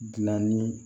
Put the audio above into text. Gilanni